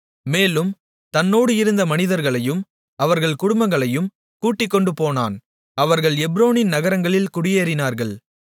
மேலும் தன்னோடு இருந்த மனிதர்களையும் அவர்கள் குடும்பங்களையும் கூட்டிக்கொண்டுபோனான் அவர்கள் எப்ரோனின் நகரங்களில் குடியேறினார்கள்